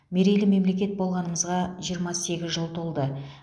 мерейлі мемлекет болғанымызға жиырма сегіз жыл толды